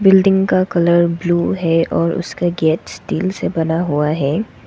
Building का colour blue है और उसका गेट स्टील से बना हुआ है।